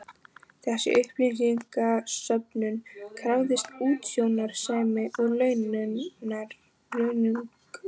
Þessi upplýsingasöfnun krafðist útsjónarsemi og launungar.